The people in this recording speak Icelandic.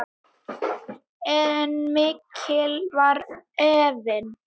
En mikill var efinn.